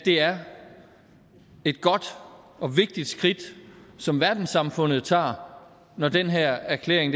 det er et godt og vigtigt skridt som verdenssamfundet tager når den her erklæring